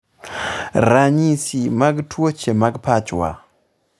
ranyisi mag tuoche mag pachwa